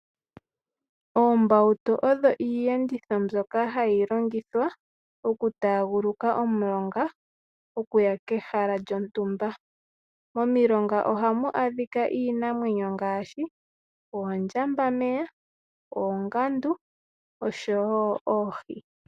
Oombawutu odho iiyenditho mbyoka hayi longithwa okutaaguluka omulonga okuya kehala lyontumba. Momilonga ohamu adhika iinamwenyo ngaashi oondjambameya, oongandu oshowo oohi.